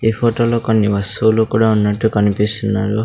ఈ ఫొటో లో కొన్ని వస్తువులు కూడా ఉన్నట్టు కనిపిస్తున్నారు.